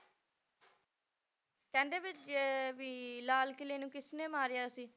ਕਹਿੰਦੇ ਵੀ ਅਹ ਵੀ ਲਾਲ ਕਿਲ੍ਹੇ ਨੂੰ ਕਿਸਨੇ ਮਾਰਿਆ ਸੀ?